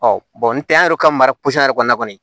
Ɔ bɔn ntɛ an yɛrɛ ka mara yɛrɛ kɔnɔ kɔni